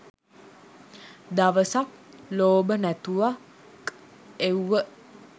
දවසක් ලෝබ නැතුව ක් එව්ව